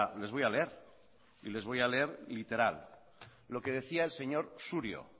les voy a leer y les voy a leer literal lo que decía el señor surio